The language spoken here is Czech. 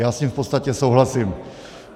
Já s ním v podstatě souhlasím.